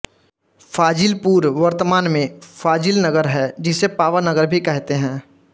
फाजिलपुर वर्तमान में फाजिलनगर है जिसे पावा नगर भी कहते हैं